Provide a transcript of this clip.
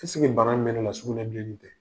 bana min bɛ ne la sugunɛbilenni tɛ?